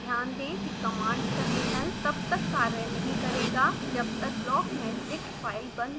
ध्यान दें कि कमांड टर्मिनल तब तक कार्य नहीं करेगा जब तक blockmeshdict फाइल बंद न हो जाये